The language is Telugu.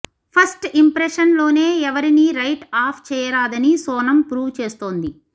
ఫస్ట్ ఇంప్రెషన్ లోనే ఎవరిని రైట్ ఆఫ్ చేయరాదని సోనం ప్రూవ్ చేస్తోంది